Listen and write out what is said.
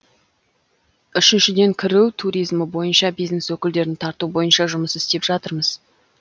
үшіншіден кіру туризмі бойынша бизнес өкілдерін тарту бойынша жұмыс істеп жатырмыз